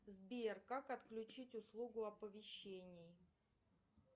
сбер как отключить услугу оповещений